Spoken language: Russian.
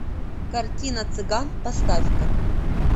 картина цыган поставь ка